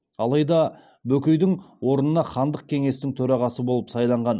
алайда бөкейдің орнына хандық кеңестің төрағасы болып сайланған